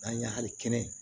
An ye hali kɛnɛ